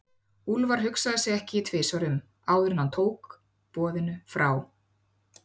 Úlfar hugsaði sig ekki tvisvar um, áður en hann tók boðinu frá